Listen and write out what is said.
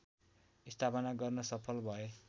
स्थापना गर्न सफल भए